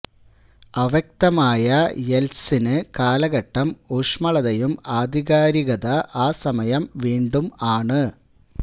അവ്യക്തമായ യെല്ത്സിന് കാലഘട്ടം ഊഷ്മളതയും ആധികാരികത ആ സമയം വീണ്ടും ആണ്